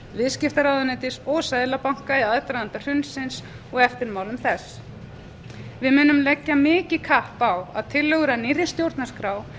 viðskiptaráðuneytis og seðlabanka í aðdraganda hrunsins og eftirmálum þess við munum leggja mikið kapp á að tillögur að nýrri stjórnarskrá